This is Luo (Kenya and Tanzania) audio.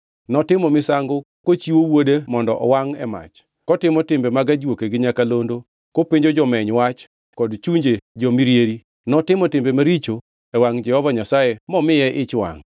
Notimo misango kochiwo wuode mondo owangʼ e mach, kotimo timbe mag ajuoke gi nyakalondo, kopenjo jomeny wach kod chunje jo-mirieri, notimo timbe maricho e wangʼ Jehova Nyasaye momiye ich wangʼ.